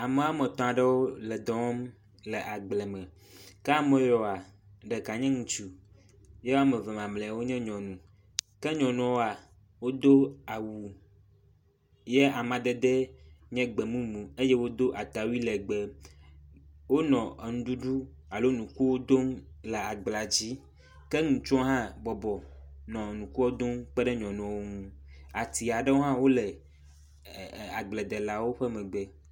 ame ametɔ̃ɖewo le dɔwɔm le agble me ke ameyiwoa ɖeka nye ŋutsu ye woameve mamlɛawo nye nyɔnu ke nyɔnuawoa wodó awu ye amadedɛ nye gbemumu eye wodó atawui legbe wóle enuɖuɖu alo nukuo dó le agblea dzi ke nutsuɔ ha bɔbɔ nɔ nu dom kpeɖe nyɔnuɔwo ŋu